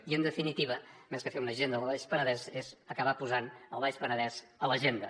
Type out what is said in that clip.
i en definitiva més que fer una agenda del baix penedès és acabar posant el baix penedès a l’agenda